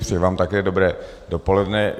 Přeji vám také dobré dopoledne.